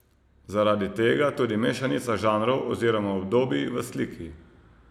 Zaradi tega tudi mešanica žanrov oziroma obdobij v sliki.